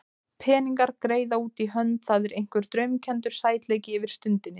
Peningar, greiða út í hönd, það er einhver draumkenndur sætleiki yfir stundinni.